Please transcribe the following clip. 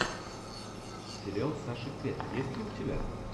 сериал саши кэт есть ли у тебя